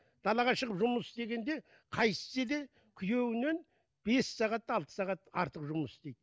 далаға шығып жұмыс істегенде қайтсе де күйеуінен бес сағат алты сағат артық жұмыс істейді